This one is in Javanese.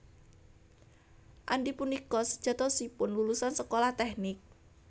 Andy punika sejatosipun lulusan sekolah tèknik